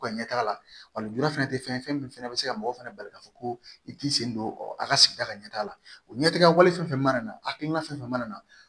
U ka ɲɛtaa la wa lujura fɛnɛ tɛ fɛn ye fɛn min fana bɛ se ka mɔgɔw fana bali ka fɔ ko i t'i sen don a ka sigida ka ɲɛtaa la o ɲɛtigɛ wale fɛn fɛn mana na hakilina fɛn fɛn mana na